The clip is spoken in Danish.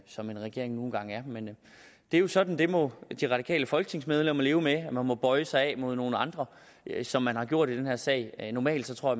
som en regering nu engang er men det er jo sådan det må de radikale folketingsmedlemmer leve med man må bøje sig imod nogle andre som man har gjort i den her sag normalt tror